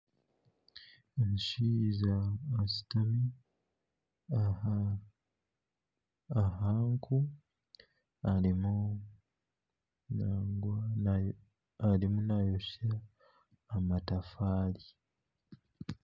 Omushaija ashutami aha nku arimu naayosya amatafaari